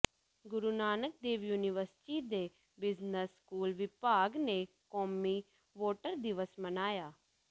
ਗੁਰੂ Nanak Dev university ਦੇ business school ਵਿਭਾਗ ਨੇ ਕੌਮੀ ਵੋਟਰ ਦਿਵਸ ਮਨਾਇਆ